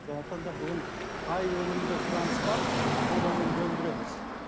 сондықтан да бүгін қай өнімге сұраныс бар сол өнімді өндіреміз